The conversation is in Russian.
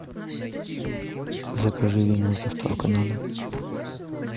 закажи вино с доставкой на дом